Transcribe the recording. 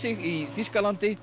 í Þýskalandi